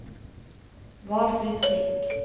Valfrid Flink